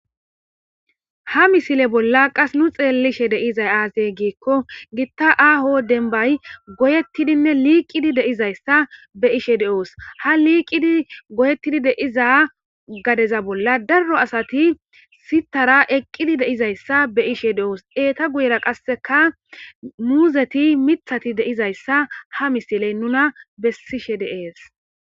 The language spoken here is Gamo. Ha misile bolla qas nu xeellishe deizay aazey giikko gitta aaho denbay goyettidinne liiqidi deizayssa be ishe de7oos ha liiqidi goyeettidi deiza gadeza bolla darro asati sitara eqqidi deizayssa be ishe de7oos eeta guyera qasseka muuzeti mithati deizayssa ha misiley nuna bessishe dees.